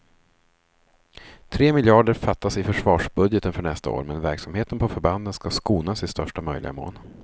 Tre miljarder fattas i försvarsbudgeten för nästa år, men verksamheten på förbanden ska skonas i största möjliga mån.